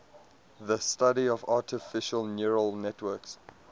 the study of artificial neural networks